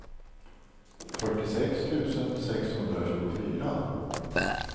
fyrtiosex tusen sexhundratjugofyra